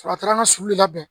Sɔrɔ a taara an ka sugu labɛn